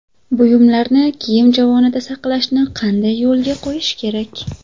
Buyumlarni kiyim javonida saqlashni qanday yo‘lga qo‘yish kerak?